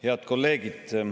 Head kolleegid!